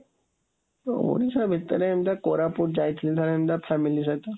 ତ ଓଡିଶା ଭିତରେ ଏମିତି କୋରାପୁଟ ଯାଇଥିଲି ଥରେ ଏମିତି, family ସହିତ,